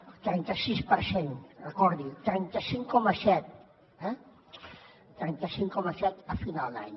el trenta sis per cent recordi ho trenta cinc coma set eh trenta cinc coma set a final d’any